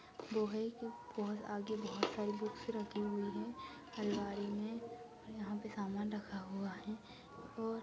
के आगे बहोत सारी बुक्स रखी हैं अलमारी मे और यहाँ पे सामान रखा हुआ है। और --